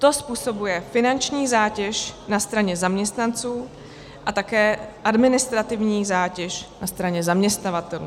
To způsobuje finanční zátěž na straně zaměstnanců a také administrativní zátěž na straně zaměstnavatelů.